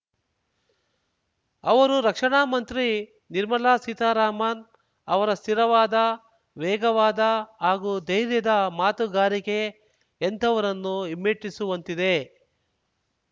ಅವರು ರಕ್ಷಾಣಾ ಮಂತ್ರಿ ನಿರ್ಮಲಾ ಸೀತಾರಾಮನ್‌ ಅವರ ಸ್ಥಿರವಾದ ವೇಗವಾದ ಹಾಗೂ ಧೈರ್ಯದ ಮಾತುಗಾರಿಕೆ ಎಂಥವರನ್ನೂ ಹಿಮ್ಮೆಟ್ಟಿಸುವಂತಿದೆ